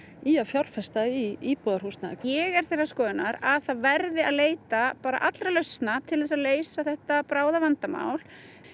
í að fjárfesta í íbúðarhúsnæði ég er þeirrar skoðunar að það verði að leita allra lausna til að leysa þetta bráða vandamál